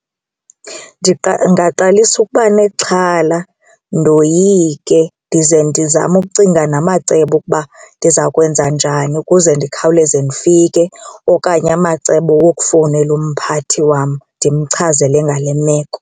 Ningaqalisa ukuba nexhala ndoyike ndize ndizame ukucinga namacebo okuba ndiza kwenza njani ukuze ndikhawuleze ndifike okanye amacebo wokufowunela umphathi wam ndimchazele ngale meko.